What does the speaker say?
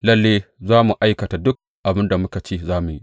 Lalle za mu aikata duk abin da muka ce za mu yi.